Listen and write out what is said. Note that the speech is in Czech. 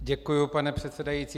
Děkuji, pane předsedající.